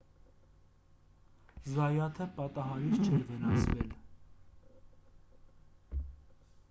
զայաթը պատահարից չէր վնասվել